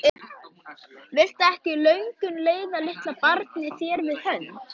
Viltu ekki, löngun, leiða litla barnið þér við hönd?